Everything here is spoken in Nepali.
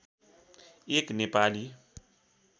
एक नेपाली